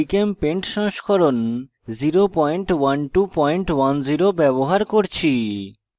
gchempaint সংস্করণ 01210 ব্যবহার করছি